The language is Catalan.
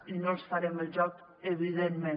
i no els farem el joc evidentment